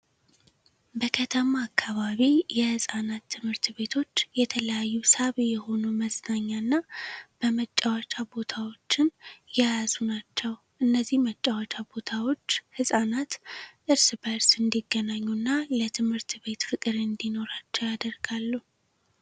በከተማ አካባቢ የህፃናት ትምህርት ቤቶች የተለያዩ ሳቢ የሆኑ መዝናኛ እና በጫወቻ ቦታወችን የያዙ ናቸው። እነዚህ መጫወቻ ቦታዎች ህፃናት እርስ በርስ እንዲገናኙ እና ለትምህርት ቤት ፍቅር እንዲኖራቸው ያደርጋሉ።